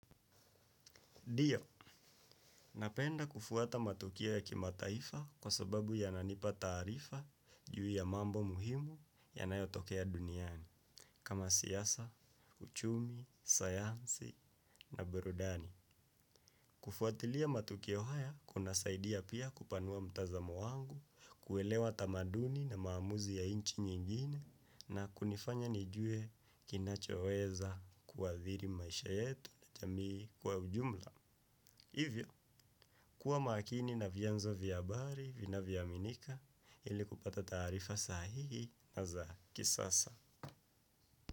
Ndio, napenda kufuata matukio ya kimataifa kwa sababu yananipa taarifa juu ya mambo muhimu yanayotokea duniani kama siasa, uchumi, sayansi na burudani. Kufuatilia matukio haya kunasaidia pia kupanua mtazamo wangu, kuelewa tamaduni na maamuzi ya inchi nyingine na kunifanya nijue kinachoweza kuadhiri maisha yetu na jamii kwa ujumla. Hivyo, kuwa makini na vyanzo vya abari, vinavyoaminika, ili kupata tarifa sahihi na za kisasa.